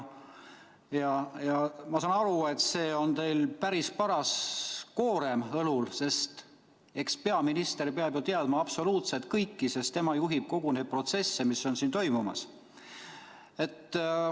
Ma saan aru, et teil on päris paras koorem õlul, sest eks peaminister peab ju teadma absoluutselt kõike, sest tema juhib kogu seda protsessi, mis on siin toimumas.